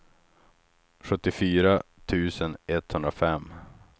sjuttiofyra tusen etthundrafem